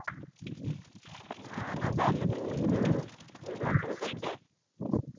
ନାଁ ନାଁ